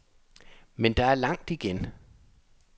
Men der er langt igen.